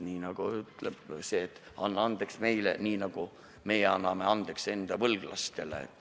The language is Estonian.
Nii nagu öeldakse, et anna andeks meile, nii nagu meie anname andeks enda võlglastele.